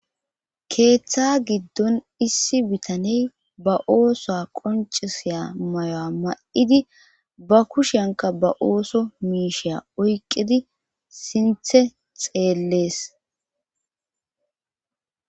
keeththa giddon issi bitaney ba oosoa qoncisiya mayoa ma7idi ba kushyanka ba ooso miisheya oyqidi sinthe xeellees